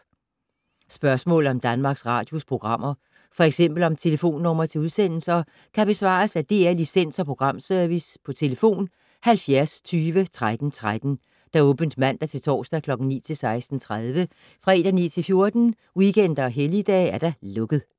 Spørgsmål om Danmarks Radios programmer, f.eks. om telefonnumre til udsendelser, kan besvares af DR Licens- og Programservice: tlf. 70 20 13 13, åbent mandag-torsdag 9.00-16.30, fredag 9.00-14.00, weekender og helligdage: lukket.